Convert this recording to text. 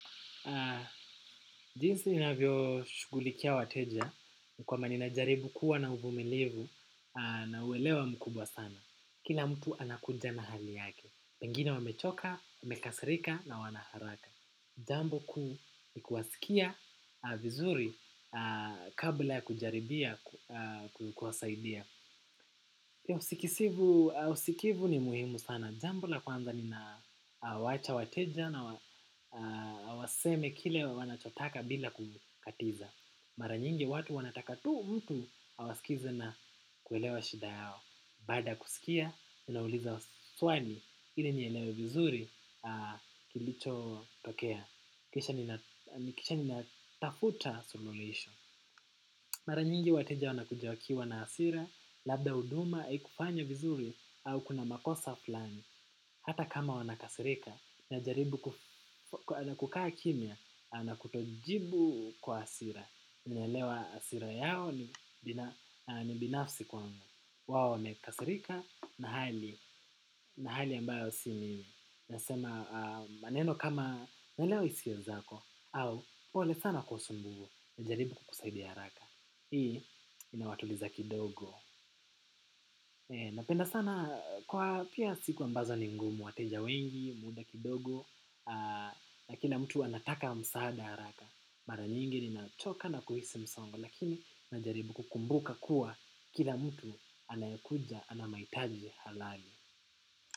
Jinsi ninavyoshugulikia wateja kwamba ninajaribu kuwa na uvumilivu na uelewa mkubwa sana. Kila mtu anakunja na hali yake. Wengine wamechoka, wamekasirika na wana haraka. Jambu kuu ni kuwasikia vizuri kabla ya kujaribia ku kuwasaidia. Usikivu ni muhimu sana. Jambo la kwanza ninawaacha wateja na waseme kile wanachotaka bila kukatiza. Mara nyingi watu wanataka tu mtu awasikize na kuelewa shida yao. Baada ya kusikia, ninauliza swali ili nielewe vizuri kilichotokea. Kisha nina kisha ninatafuta suluhisho. Mara nyingi wateja wanakuja wakiwa na hasira, labda huduma, haikufanywa vizuri au kuna makosa flani. Hata kama wanakasirika najaribu na kukaa kimya na kutojibu kwa hasira. Ninaelewa hasira yao ni binafsi kwangu. Wao wamekasirika na hali na hali ambayo si mimi nasema maneno kama naelewa hisia zako au pole sana kwa usumbuvu najaribu kukusaidia haraka. Hii inawatuliza kidogo. Napenda sana. Kwa pia siku ambazo ni ngumu, wateja wengi, muda kidogo, na kila mtu anataka msaada haraka. Mara nyingi ninachoka na kuhisi msongo, lakini najaribu kukumbuka kuwa kila mtu anayekuja, ana mahitaji halali.